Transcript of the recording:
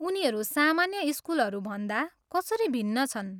उनीहरू सामान्य स्कुलहरू भन्दा कसरी भिन्न छन्?